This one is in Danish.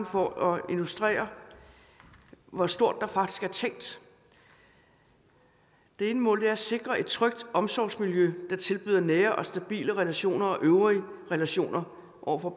for at illustrere hvor stort der faktisk er tænkt det ene mål er at sikre et trygt omsorgsmiljø der tilbyder nære og stabile relationer og øvrige relationer over for